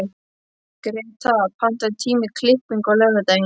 Greta, pantaðu tíma í klippingu á laugardaginn.